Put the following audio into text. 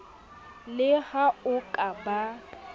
le ha o ka ba